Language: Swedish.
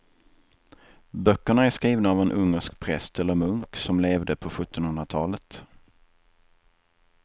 Böckerna är skrivna av en ungersk präst eller munk som levde på sjuttonhundratalet.